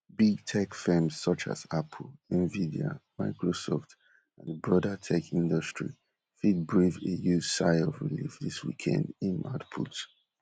big tech firms such as apple, nevidia microsoft and di broader tech industry fit brave a u sigh of relief dis weekend im add put